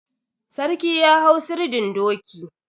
Sarki ya hau sirdin doki.